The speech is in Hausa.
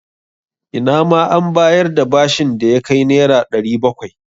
Ina ma an bayar da bashin da ya kai Naira 700.